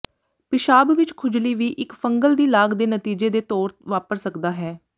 ਿਪਸ਼ਾਬ ਵਿਚ ਖੁਜਲੀ ਵੀ ਇੱਕ ਫੰਗਲ ਦੀ ਲਾਗ ਦੇ ਨਤੀਜੇ ਦੇ ਤੌਰ ਵਾਪਰ ਸਕਦਾ ਹੈ